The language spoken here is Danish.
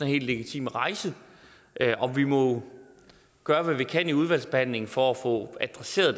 helt legitim at rejse og vi må gøre hvad vi kan i udvalgsbehandlingen for at få adresseret